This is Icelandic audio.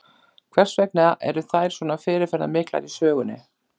Hvers vegna eru þær svo fyrirferðamiklar í sögunni?